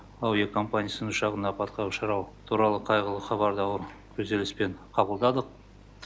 әуе компаниясы ұшағының апатқа ұшырауы туралы қайғылы хабарды ауыр күйзеліспен қабылдадық